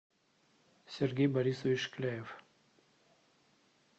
сергей борисович шкляев